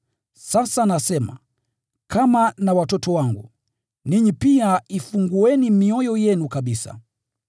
Sasa nasema, kama na watoto wangu: Ninyi pia ifungueni mioyo yenu kabisa.